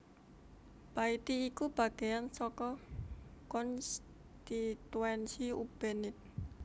Baiti iku bagéan saka konstituensi Ubenide